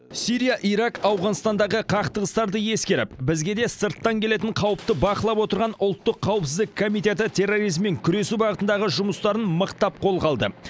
сирия ирак ауғанстандағы қақтығыстарды ескеріп бізге де сырттан келетін қауіпті бақылап отырған ұлттық қауіпсіздік комитеті терроризммен күресу бағытындағы жұмыстарын мықтап қолға алды